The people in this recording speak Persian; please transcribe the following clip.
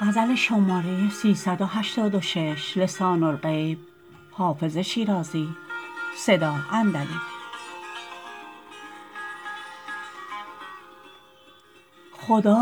خدا